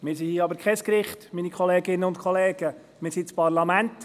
Wir sind aber kein Gericht, meine Kolleginnen und Kollegen, wir sind das Parlament!